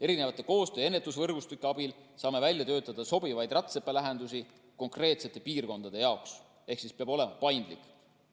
Erinevate koostöö‑ ja ennetusvõrgustike abil saame välja töötada sobivaid rätsepalahendusi konkreetsete piirkondade jaoks ehk peab olema paindlik.